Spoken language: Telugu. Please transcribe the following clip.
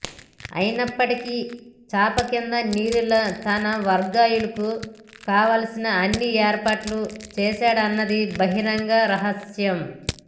అయినప్పటికీ చాపకింద నీరులా తన వర్గీయులకు కావాల్సిన అన్నిఏర్పాట్లు చేశాడన్నది బహిరంగ రహస్యం